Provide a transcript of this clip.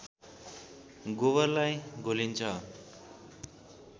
गोबरलाई घोलिन्छ